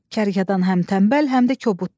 Kərkədan həm tənbəl, həm də kobuddur.